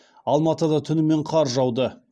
алматыда түнімен қар жауды